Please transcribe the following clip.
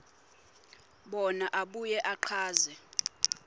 bona abuye achaze